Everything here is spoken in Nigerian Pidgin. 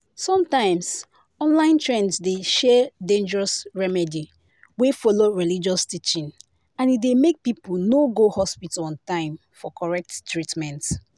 sometimes online trend dey share dangerous remedy wey follow religious teaching and e dey make people no go hospital on time for correct treatment